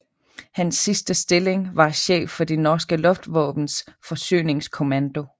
Hans sidste stilling var chef for det norske luftvåbens forsyningskommando